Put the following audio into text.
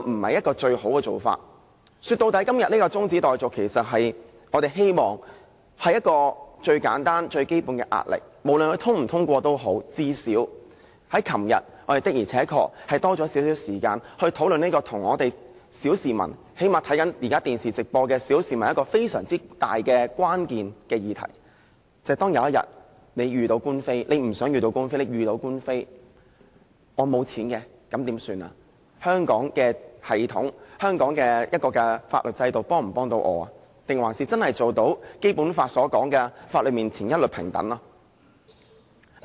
說到底，我們希望透過今天的中止待續議案，給政府最簡單和最基本的壓力，無論議案通過與否，最少我們昨天的而且確有多點時間討論與小市民——最低限度現時正在收看電視直播的小市民——非常有關的議題，便是當有一天，你雖不想、但遇到官非，而你沒有錢的時候應怎麼辦？香港的法律制度能否幫助自己，能否做到《基本法》所提及的在法律面前一律平等呢？